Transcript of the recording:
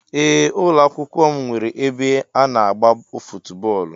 Ee ụlọakwụkwọ m nwere ebe ana agba footu bóólú.